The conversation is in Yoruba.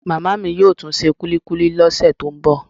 Màmá mi yóò tún se kulikuli lọ́sẹ̀ tó ń bọ̀